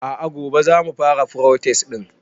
a'a gobe zamu fara protest din